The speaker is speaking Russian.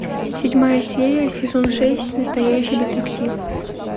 седьмая серия сезон шесть настоящий детектив